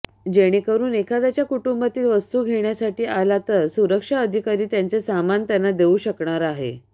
जेणेकरुन एखाद्याच्या कुटूंबातील वस्तू घेण्यासाठी आला तर सुरक्षा अधिकारी त्यांचे सामान त्यांना देऊ शकणार आहे